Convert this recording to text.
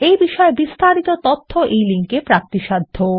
এই বিষয় বিস্তারিত তথ্য এই লিঙ্ক এ প্রাপ্তিসাধ্য